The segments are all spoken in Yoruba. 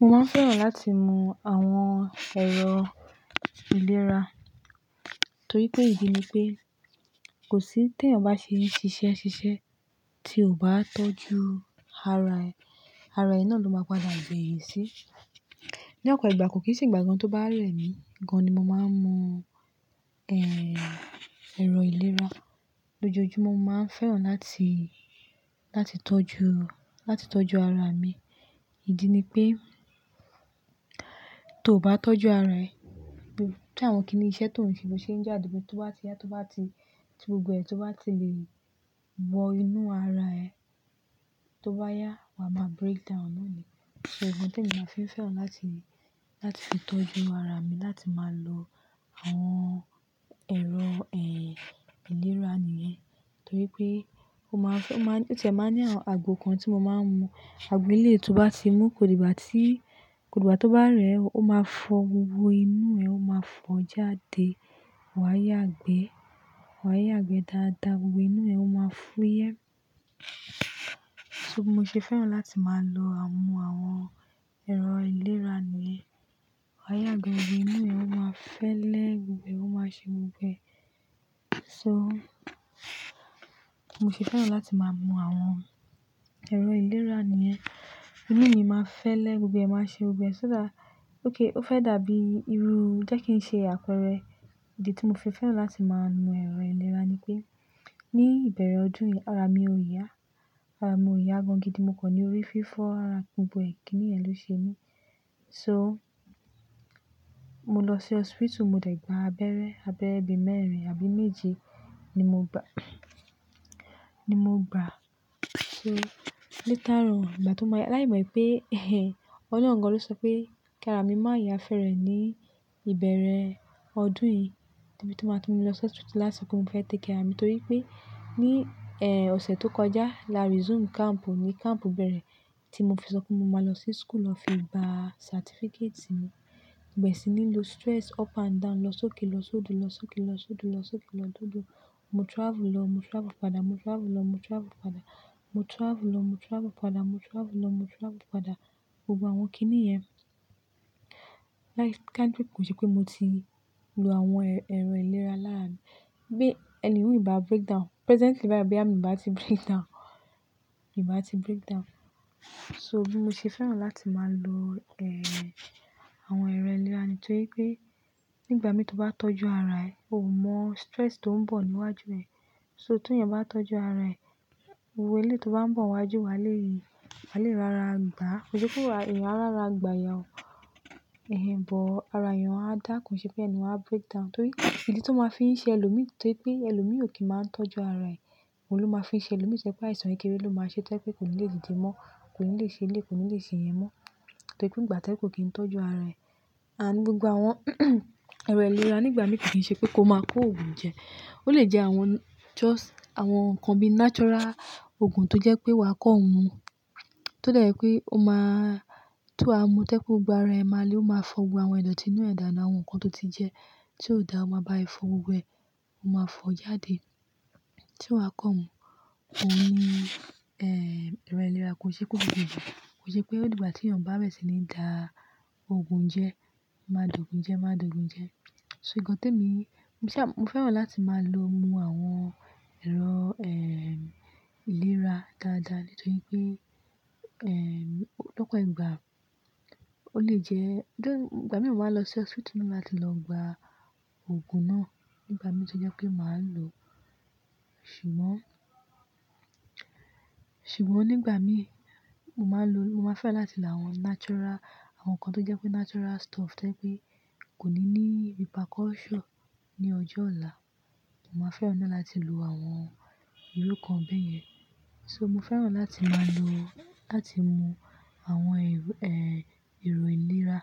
Mo máa fẹ́ràn láti mú àwọn ẹ̀rọ ìlera, torí pé ìdí ni pé kò sí tí èèyàn bá ṣe ṣiṣẹ́ ṣiṣẹ́ tí kò bá tọ́jú ara ẹ, ara ẹ náà ló máa padà gbé yẹn sí. Ní ọ̀pọ̀ ìgbà kò kì í sì ìgbà kan tó bá rẹ̀ mí gan, mo máa ń mu, ẹ́, ẹ̀rọ ìlera. Lójoojumo mo máa ń fẹ́ràn láti, láti tọ́jú, láti tọ́jú ara mi. Ìdí ni pé tó bá tọ́jú ara ẹ, bí i tí àwọn kíní iṣẹ́ tó ń ṣe ló ṣe ń jáde pé tó bá ti yá, tó bá ti gbogbo ẹ̀ tó bá ti lè wọ inú ara ẹ tó bá yá, wa máa breakdown nùú nìyẹn. So nkan tí mo máa fẹ́ fẹ́ràn láti, láti fi tọ́jú ara mi láti máa lo àwọn ẹ̀rọ, ẹ́, ìlera nìyẹn. Torí pé ó máa fẹ́, ó máa, o tí ẹ máa ní àwọn àgbo kan tí mo máa ń mu, agbo eleyi tó bá ti mú kò dígbà tí, kò dígbà tó bá rẹ̀ ẹ, ó máa fọ gbogbo inú ẹ, ó máa fọ jáde, wà á yá gbẹ, wà á yá gbẹ dáadáa, gbogbo inú ẹ ó máa fúyẹ́. So bi mo ṣe fẹ́ràn láti máa lo àmu àwọn ẹ̀rọ ìlera nìyẹn. Wà á yá gbẹ, gbogbo inú ẹ ó máa fẹ́lẹ́ gbogbo ẹ̀, ó máa ṣe gbogbo ẹ̀. So mo ṣe fẹ́ràn láti máa mu àwọn ẹ̀rọ ìlera nìyẹn. Inú mi máa fẹ́lẹ́ gbogbo ẹ̀, ó máa ṣe gbogbo ẹ̀. Ṣé dá, ókay, ó fẹ́ dàbí irú jẹ́ kí n ṣe àpẹẹrẹ. Ìdí tí mo fi fẹ́ràn láti máa mu ẹ̀rọ ìlera ni pé ní ìbẹ̀rẹ̀ ọdún yìí ara mi ò yá. Ara mi ò yá gan gidi mo kọ̀ ní orí fífọ́ ara gbogbo ẹ̀ kíní yẹn ló ṣe mí. So mo lọ sí hospital, mo dẹ̀ gbà abẹ́rẹ́, abẹ́rẹ́ bi mẹ́rin àbí méje ni mo gbà, ni mo gbà. So later on ìgbà tó máa yá, láì mọ̀ pé, ọlọ́run gan ló sọ pé kí ara mi má yá fẹ́rẹ̀ ní ìbẹ̀rẹ̀ ọdún yìí. Torí bí tó máa tó mú mi lọ sí hospital láti so pe mo fẹ́ take care ara mi torí pé ní, ẹ́, ọ̀sẹ̀ tó kọjá làrí resume camp ni camp bẹ̀rẹ̀ tí mo fi sọ pé mo máa lọ sí school lọ fi gba certificate mi. Gbogbo e sini lọ stress up and down, lọ sókè lọ sódo, lọ sókè lọ sódo, lọ sókè lọ sódo. Mo travel lọ, mo travel padà, mo travel lọ, mo travel padà, mo travel lọ, mo travel padà, mo travel lọ, mo travel padà. Gbogbo àwọn kíní yẹn like kanipe kò ṣe pé mo ti lo àwọn ẹ̀rọ ìlera lára mi. Bí ẹni ò bá breakdown, presently baayi boyá mí ò bá ti breakdown, mi ò bá ti breakdown. So bí mo ṣe fẹ́ràn láti máa lo, ẹ́, àwọn ẹ̀rọ ìlera nìyẹn torí pé nígbà mi tó bá tọ́jú ara ẹ, o ò mọ̀ stress tó ń bọ̀ níwájú ẹ. So ti èèyàn bá tọ́jú ara ẹ, gbogbo ilé tó bá ń bọ̀ wájú wá lè, wá lè rara gbà. Kò ṣe pé èèyàn á rara gbà yẹn o. Ẹ̀hẹn, but ara èèyàn a dá ko n ṣe pé ẹniyẹn a breakdown torí pe idi tó máa fi ń ṣe ẹlòmí torí pé ẹlòmí ò kí ń máa ń tọ́jú ara ẹ. Òun ló máa fi ń ṣe ẹlòmí ṣe pé àìsàn kékeré ló máa ṣe tó je wipẹ́ kò ní lè dìde mọ́, kò ní lè ṣe iléyi, kò ní lè ṣe iyen mọ́. Torí pé ìgbà to je wípé kí n tọ́jú ara ẹ. And gbogbo àwọn ẹ̀rọ ìlera nígbàmi kò kì í ṣe pé kó máa kó ògùn jẹ. Ó lè jẹ àwọn just àwọn nǹkan bí i natural ògùn tó jẹ́ pé wa kọ́ mu. Tó dẹ́ je pé ó máa, ti wa mu to je pe gbogbo ara ẹ máa le, ó máa fọ gbogbo àwọn ìdọ̀tí inú ẹ̀dà náà, àwọn ohun kan tó ti jẹ tí ó dà ó máa báa ẹ fọ gbogbo ẹ, ó máa fọ jáde. Tí wa kọ́ mu, òní, ẹ́, ẹ̀rọ ìlera kò ṣe pé ó gbogbo ìgbà. Kò ṣe pé ó dìgbà tí èèyàn bá bẹ̀rẹ̀ sí ní da ògùn jẹ, máa dùn ògùn jẹ, máa dùn ògùn jẹ. So nǹkan ti e mi, mo fẹ́ràn láti máa lo mu àwọn ẹ̀rọ, ẹ́, ìlera dáadáa nítorí pé, ẹ́, lọ́pọ̀ ìgbà ó lè jẹ́, though, ìgbà mi mo máa lọ sí hospital mo máa ti lọ gba ògùn náà nígbàmí tí ó jẹ́ pé màá lo. Ṣùgbọ́n, ṣùgbọ́n nígbà mí mo máa ń lo, mo máa fẹ́ràn láti la àwọn natural, àwọn nǹkan tó jẹ́ pé natural stuff to je pé kò ní ní repercussion ní ọjọ́ ọ̀la. Mo máa fẹ́ràn náà láti lo àwọn irú nkan bẹ́yẹn. So mo fẹ́ràn láti máa lo, láti mu àwọn ẹ́, èrò ìlera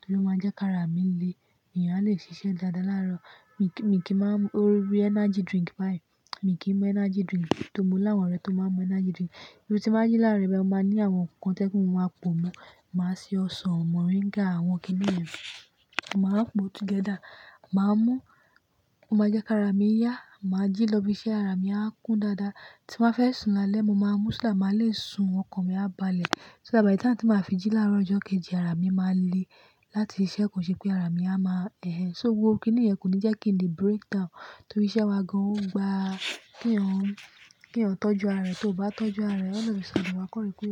torí ó máa jẹ́ kí ara mi le, èèyàn á lè ṣiṣẹ́ dáadáa láàárọ̀. Mi kí, mi kí máa mú orí energy drink báyìí. Mi kí mú energy drink tó ri mo l'áwọn ọ̀rẹ́ tó máa ń mu energy drink. Irú tí báa jí láàárọ̀ bayi mo máa ní àwọn ohun kan to je pé mo máa po mú. Màá ṣe ọsàn, moringa àwọn kíní yẹn, màá po together. Màá mú, ó máa jẹ́ kí ara mi yá, màá jí lọ ibi iṣẹ́ ara mi á kún dáadáa. Tí mo be fẹ́ sùn lálẹ́, mo máa mú ṣo that máa le sùn ọkàn mi á balẹ̀. So that by the time tí màá fi jí láàárọ̀ ọjọ́ kejì ara mi máa le láti ṣiṣẹ́ kò ṣe pé ara mi a máa ẹhẹ. So gbogbo kíní yẹn kò ní jẹ́ kí n le breakdown torí iṣẹ́ wa gan-an ó gba kí eyin ọ̀, kí eyan tọ́jú ara rẹ. Tó ò bá tọ́jú ara rẹ, all of a sudden wa kọ́rí pe o.